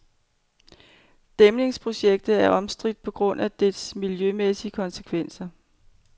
Dæmningsprojektet er omstridt på grund af dets miljømæssige konsekvenser.